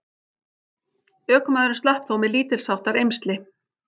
Ökumaðurinn slapp þó með lítilsháttar eymsli